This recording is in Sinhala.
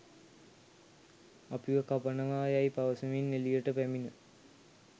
අපිව කපනවා යැයි පවසමින් එළියට පැමිණ